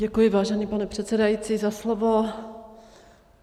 Děkuji, vážený pane předsedající za slovo.